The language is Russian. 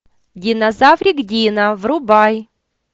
динозаврик дино врубай